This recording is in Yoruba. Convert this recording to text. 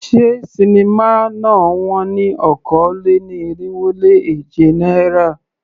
Ṣé sinimá náà wón ní okòó-lé-ní-irínwó-lé-èje náírà?